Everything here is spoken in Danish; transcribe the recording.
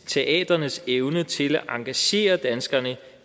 teatrenes evne til at engagere danskerne